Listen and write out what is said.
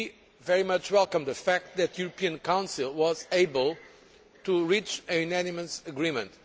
We very much welcome the fact that the European Council was able to reach a unanimous agreement.